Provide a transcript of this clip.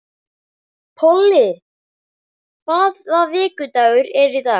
Polly, hvaða vikudagur er í dag?